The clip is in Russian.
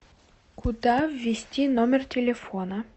куда ввести номер телефона